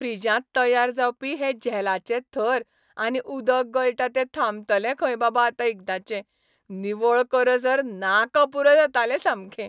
फ्रिजांत तयार जावपी हे झेलाचे थर आनी उदक गळटा तें थांबतलें खंय बाबा आतां एकादाचें. निवळ करसर नाका पुरो जातालें सामकें.